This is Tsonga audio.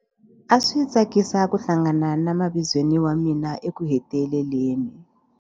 A swi tsakisa ku hlangana na mavizweni wa mina ekuheteleleni.